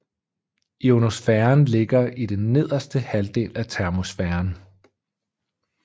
Ionosfæren ligger i nederste halvdel af termosfæren